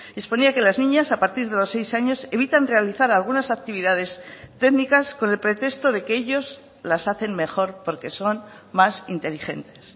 exponía que las niñas a partir de los seis años evitan realizar algunas actividades técnicas con el pretexto de que ellos las hacen mejor porque son más inteligentes